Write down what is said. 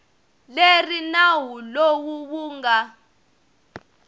leri nawu lowu wu nga